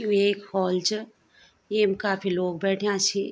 यु एक हॉल च येम काफी लोग बैठ्याँ छी।